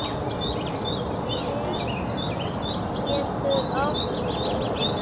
Bríet getur átt við